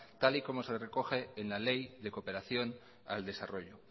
tal y como se recoge en la ley de cooperación al desarrollo